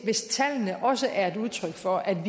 hvis tallene også er et udtryk for at